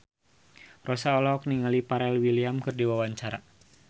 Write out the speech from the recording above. Rossa olohok ningali Pharrell Williams keur diwawancara